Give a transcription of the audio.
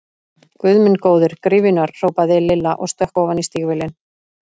Guð minn góður, gryfjurnar! hrópaði Lilla og stökk ofan í stígvélin.